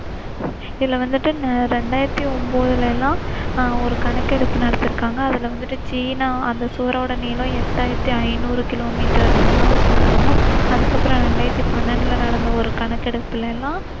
இதுல வந்திட்டு இரண்டாயிரத்தி ஒன்பதுல எல்லாம் அஹ் ஒரு கணக்கெடுப்பு நடத்திருக்காங்க. அதுல வந்திட்டு சீனா அந்த சுவரோட நீளம் எட்டாயிரத்தி ஐநூறு கிலோ மீட்டர்னு சொன்னாங்க. அதுக்கப்புறம் இரண்டாயிரத்தி பன்னிரெண்டுல நடந்த கணக்கெடுப்புல எல்லாம்,